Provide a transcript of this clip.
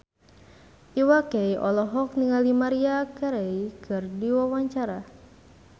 Iwa K olohok ningali Maria Carey keur diwawancara